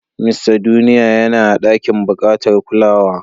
Mista Duniya yana a ɗakin bukatar kulawa.